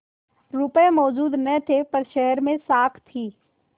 रुपये मौजूद न थे पर शहर में साख थी